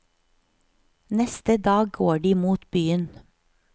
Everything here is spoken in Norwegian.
Neste dag går de mot byen.